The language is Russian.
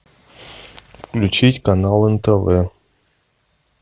включить канал нтв